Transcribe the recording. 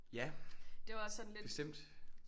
Ja bestemt